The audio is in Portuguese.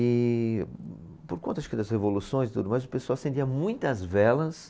E por conta acho que das revoluções e tudo mais, o pessoal acendia muitas velas